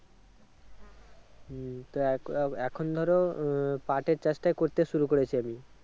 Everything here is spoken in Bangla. হম তা আহ কা এখন ধরো আহ পাটের চাষটাই করতে শুরু করেছি আমি।